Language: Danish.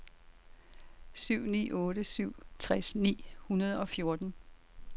syv ni otte syv tres ni hundrede og fjorten